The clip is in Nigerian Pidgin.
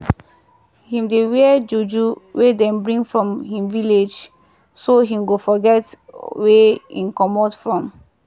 him dey wear juju wey dem bring from him village so him go forget wia him come from.